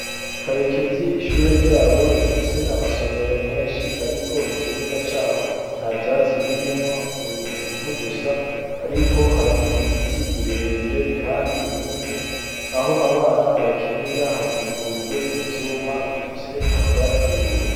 Karekezi ishure ryabo rifise amasomero menshi, ariko ikibuga caho na vyatsi birimwo ni ivugusa, ariko hari ibiti birebire, kandi binini aho abana bakinira hakikujwe n'ivyuma bifise amabara y'ubururu.